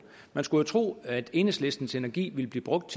man skulle jo tro at enhedslistens energi ville blive brugt